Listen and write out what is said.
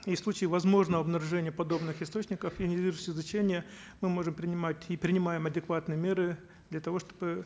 и в случае возможного обнаружения подобных источников ионизирующего излучения мы можем принимать и принимаем адекватные меры для того чтобы